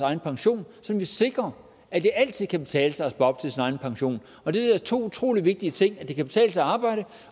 egen pension så vi sikrer at det altid kan betale sig at spare op til sin egen pension og det er to utrolig vigtige ting at det kan betale sig at arbejde